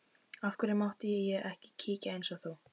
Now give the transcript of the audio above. Af hverju mátti ég ekki kíkja eins og þú?